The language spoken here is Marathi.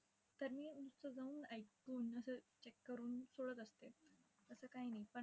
तर मी नुसतं जाऊन ऐकून, असं check करून सोडत असते. असं काही नाही.